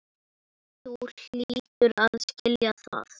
Þú hlýtur að skilja það.